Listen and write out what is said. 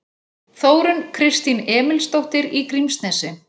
Þórunn Kristín Emilsdóttir í Grímsnesi